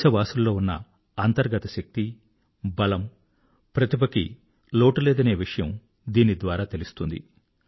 దేశవాసుల్లో ఉన్న అంతర్గత శక్తి బలము టాలెంట్ కి లోటు లేదనే విషయము దీనిద్వారా తెలుస్తుంది